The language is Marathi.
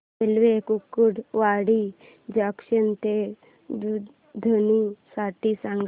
रेल्वे कुर्डुवाडी जंक्शन ते दुधनी साठी सांगा